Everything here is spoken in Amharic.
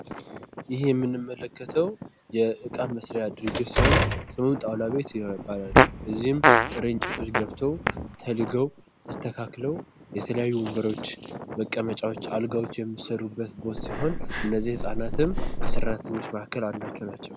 ይህ የምንመለከተው የእቃ መስሪያ ድርጅት ሲሆን ስሙም ጣውላ ቤት ይባላል። እዚህም ጥሬ እንጨቶች ገብተው ተልገው ተስተካክለው የተለያዩ ወንበሮች ፣መቀመጫዎች፣ አልጋዎች የሚሰሩበት ቦታ ሲሆን እነዚህ ህፃናትም ከሰራተኞች መካከል አንዳቸው ናቸው።